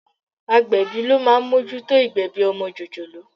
Agbẹ̀bí ló máa ń mójútó ìgbẹ̀bi ọmọ jòjòló.